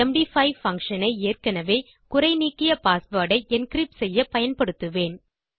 MD five function ஐ ஏற்கெனெவே குறைநீக்கிய பாஸ்வேர்ட் ஐ என்கிரிப்ட் செய்ய பயன்படுத்துவேன்